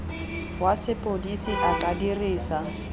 wa sepodisi a ka dirisa